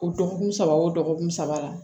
O dɔgɔkun saba o dɔgɔkun saba